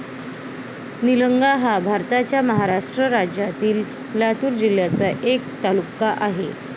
निलंगा हा भारताच्या महाराष्ट्र राज्यातील लातूर जिल्ह्याचा एक तालुका आहे.